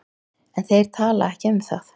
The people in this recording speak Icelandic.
En þeir tala ekki um það.